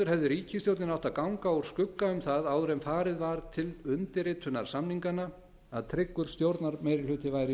ríkisstjórnin átti að ganga úr skugga um það áður en farið var til undirritunar samninganna í skjóli nætur að tryggur stjórnarmeirihluti væri